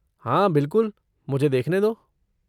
हाँ, बिलकुल, मुझे देखने दो!